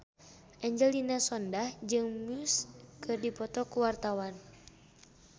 Angelina Sondakh jeung Muse keur dipoto ku wartawan